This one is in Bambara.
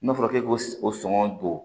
N'a fɔra k'e k'o sɔngɔ don